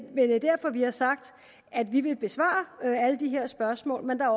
er derfor vi har sagt at vi vil besvare alle de her spørgsmål men